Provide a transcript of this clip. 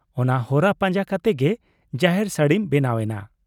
ᱚᱱᱟ ᱦᱚᱨᱟ ᱯᱟᱸᱡᱟ ᱠᱟᱛᱮ ᱜᱮ ᱡᱟᱦᱮᱨ ᱥᱟᱹᱲᱤᱢ ᱵᱮᱱᱟᱣ ᱮᱱᱟ ᱾